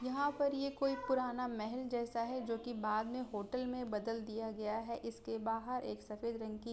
यहाँ पर ये कोई पुराना महल जैसा है जो कि बाद में होटल में बदल दिया गया है। इसके बाहर एक सफेद रंग की --